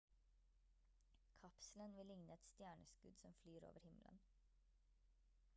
kapselen vil ligne et stjerneskudd som flyr over himmelen